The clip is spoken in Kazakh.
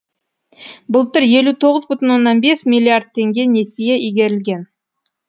былтыр елу оғыз бүтін оннан бес миллиард теңге несие игерілген